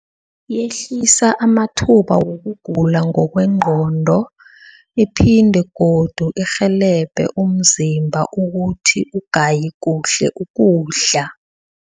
Yehlisa amathuba wokugula ngokwengqondo iphinde godu irhelebhe umzimba ukuthi ugaye kuhle ukudla.